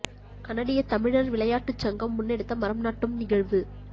கனடிய தமிழர் விளையாட்டுச் சங்கம் முன்னெடுத்த மரம் நாட்டும் நிகழ்வு